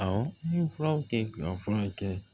Awɔ n ye furaw kɛ ka fura kɛ